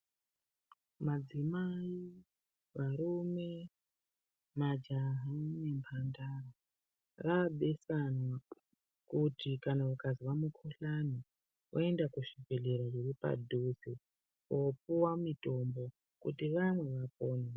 Madzimai , varume , majaha nemhandara raabesanwa kuti kana ukazwa mukuhkane voenda kuzvibhedhlera zviri padhuze kopiwa mitombo kuti vamwe vapone .